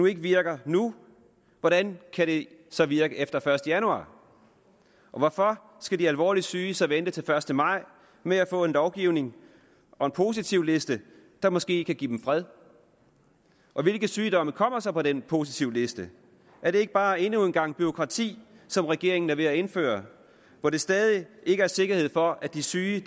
ikke virker nu hvordan kan det så virke efter den første januar og hvorfor skal de alvorligt syge så vente til den første maj med at få en lovgivning og en positivliste der måske kan give dem fred og hvilke sygdomme kommer så på den positivliste er det ikke bare endnu en gang bureaukrati som regeringen er ved at indføre hvor der stadig ikke er sikkerhed for at de syge